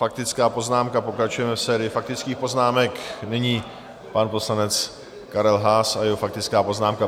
Faktická poznámka, pokračujeme v sérii faktických poznámek, nyní pan poslanec Karel Haas a jeho faktická poznámka.